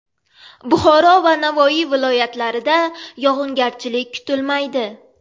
Buxoro va Navoiy viloyatlarida yog‘ingarchilik kutilmaydi.